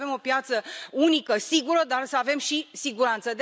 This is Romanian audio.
Trebuie să avem o piață unică sigură, dar să avem și siguranță.